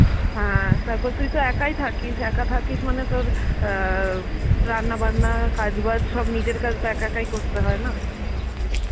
হ্যাঁ, তারপর তুই তো একাই থাকিস একা থাকিস মানে তো আ রান্না বান্না কাজ বাজ সব নিজের কাজ সব একা একাই করতে হয় না.